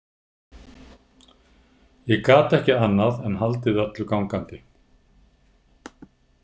Ég gat ekki annað en haldið öllu gangandi.